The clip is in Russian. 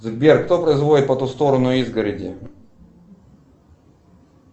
сбер кто производит по ту сторону изгороди